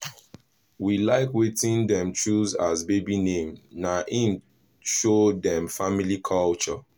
we like wetin dem choose as baby name na him show dem family culture